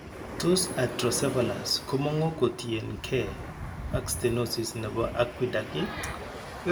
Tos hydrocephalus komongu kotien kee ak stenosis nebo aqueduct iih?